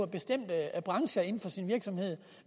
bestemte brancher